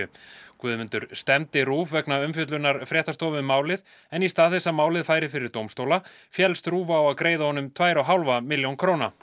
Guðmundur stefndi RÚV vegna umfjöllunar fréttastofu um málið en í stað þess að málið færi fyrir dómstóla féllst RÚV á að greiða honum tvær og hálfa milljónir króna